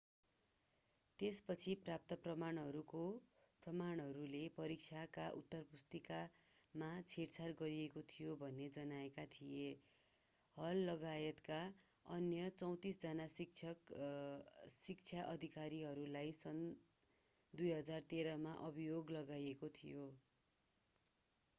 त्यसपछि प्राप्त प्रमाणहरूले परीक्षाका उत्तरपुस्तिकामा छेडछाड गरिएको थियो भन्ने जनाएका थिए हललगायतका अन्य 34 जना शिक्षा अधिकारीहरूलाई सन् 2013 मा अभियोग लगाइएको थियो